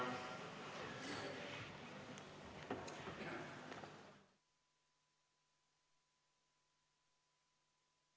Istungi lõpp kell 16.58.